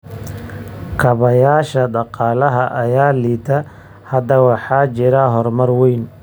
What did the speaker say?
Kaabayaasha dhaqaalaha ayaa liita. Hadda waxaa jira horumar weyn.